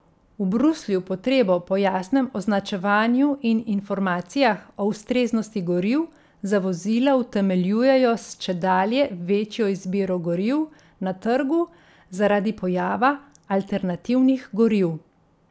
V Bruslju potrebo po jasnem označevanju in informacijah o ustreznosti goriv za vozila utemeljujejo s čedalje večjo izbiro goriv na trgu zaradi pojava alternativnih goriv.